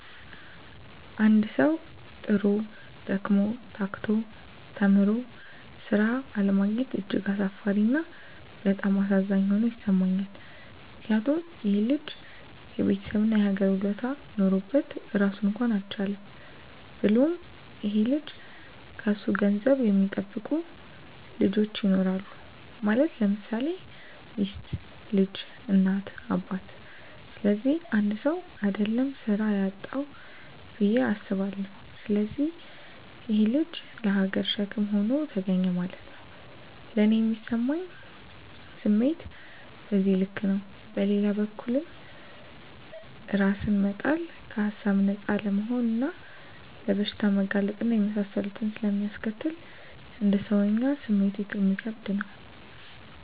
አንድ ሠዉ, ጥሮ: ደክሞ :ታክቶ ተምሮ ስራ አለማግኘት እጅግ አሳፋሪ እና በጣም አሳዛኝ ሆኖ ይሠማኛል ምክንያቱም :ይሄ ልጅ የቤተሠብ እና የሀገር ውለታ ኖሮበት ራሱን እንኳን አልቻለም። ብሎም ይሄ ልጅ ከሱ ገንዘብ የሚጠብቁ ልጆች ይኖራሉ ማለት _ለምሳሌ ሚስት: ልጅ: እናት :አባት ስለዚህ 1ሰው: አደለም ስራ ያጣዉ ብየ አስባለሁ። ስለዚህ ይሄ_ ልጅ ለሀገርም ሸክም ሆኖ ተገኘ ማለት ነዉ። ለኔ ሚሰማኝ ስሜት በዚህ ልክ ነው። በሌላ በኩልም እራስን መጣል ከሀሳብ ነፃ አለመሆንና ለበሽታ መጋለጥ እና የመሳሰሉትን ስለሚያስከትል: እንደ ሰወኛ ስሜቱ እሚከብድ ነው